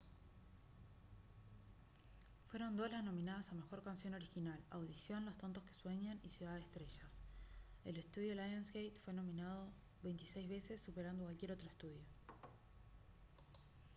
fueron dos las nominadas a mejor canción original: audición los tontos que sueñan y ciudad de estrellas. el estudio lionsgate fue nominado 26 veces superando a cualquier otro estudio